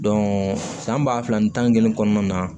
san ba fila ni tan ni kelen kɔnɔna na